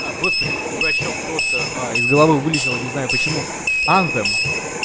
а господи дурачок просто из головы вылетело не знаю почему анфем